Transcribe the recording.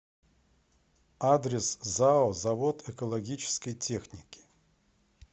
адрес зао завод экологической техники